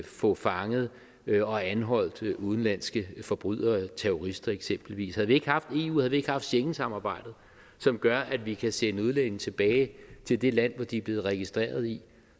få fanget og anholdt udenlandske forbrydere terrorister eksempelvis havde vi ikke haft eu havde vi ikke haft schengensamarbejdet som gør at vi kan sende udlændinge tilbage til det land som de er blevet registreret i